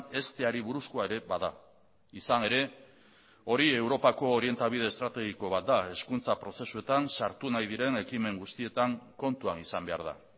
hezteari buruzkoa ere bada izan ere hori europako orientabide estrategiko bat da hezkuntza prozesuetan sartu nahi diren ekimen guztietan kontuan izan behar da